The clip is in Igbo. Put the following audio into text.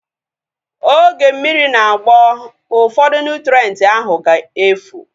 Oge mmiri na-agbọ, ụfọdụ nụtrenti ahu ga-efu